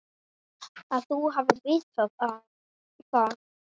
Að þú hafir vitað það.